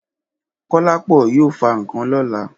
Kọ́lápọ̀ yóò fa ǹkan lọ́la.